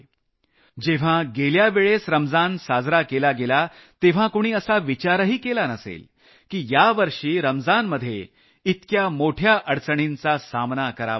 जेव्हा गेल्या वेळेस रमजान साजरा केला गेला तेव्हा कुणी असा विचारही केला नसेल की यावर्षी रमजानमध्ये इतक्या मोठ्या अडचणींचा सामना करावा लागेल